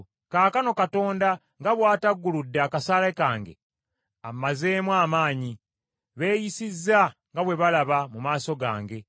Kaakano Katonda nga bw’atagguludde akasaale kange, ammazeemu amaanyi; beeyisizza nga bwe balaba mu maaso gange.